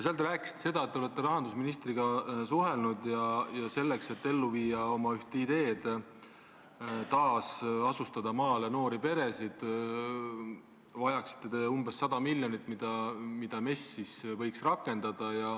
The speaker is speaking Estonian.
Seal te rääkisite, et te olete rahandusministriga suhelnud ja selleks, et ellu viia oma ideed – taasasustada maale noori peresid –, vajaksite te umbes 100 miljonit, mida MES võiks rakendada.